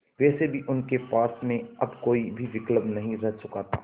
वैसे भी उनके पास में अब कोई भी विकल्प नहीं रह चुका था